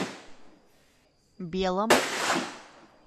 белом